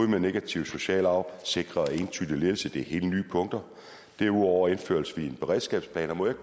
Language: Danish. med negativ social arv sikres entydig ledelse det er helt nye punkter derudover indfører vi en beredskabsplan må jeg